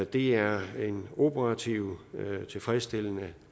det er en operativt tilfredsstillende